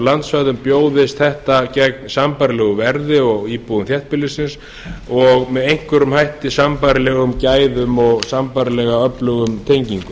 landsvæðum bjóðist þetta gegn sambærilegu verði og íbúum þéttbýlisins og með einhverjum hætti sambærilegum gæðum og sambærilega öflugum tengingum